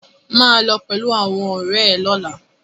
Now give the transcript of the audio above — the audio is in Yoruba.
Maa lo pẹlu awọn ọrẹ rẹ lọla!